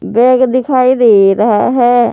Bag दिखाई दे रहा है।